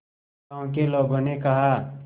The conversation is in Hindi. गांव के लोगों ने कहा